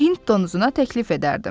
Hind donuzuna təklif edərdim.